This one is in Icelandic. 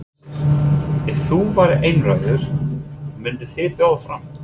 Hersir: Ef þú værir einráður, mynduð þið bjóða fram?